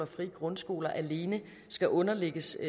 frie grundskoler alene skal underlægges